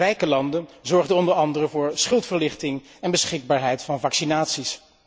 De rijke landen zorgden onder andere voor schuldverlichting en beschikbaarheid van vaccinaties.